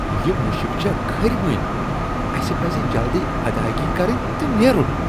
یہ مُشک چھےٚ کھرۍوٕنۍ۔ اسہِ پَزِ جلدی ادایگی كرٕنۍ تہٕ نیرُن ۔